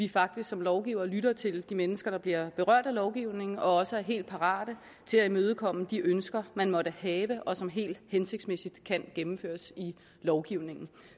vi faktisk som lovgivere lytter til de mennesker der bliver berørt af lovgivningen og også er helt parate til at imødekomme de ønsker man måtte have og som helt hensigtsmæssigt kan gennemføres i lovgivningen